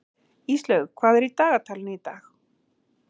Íslaug, hvað er í dagatalinu í dag?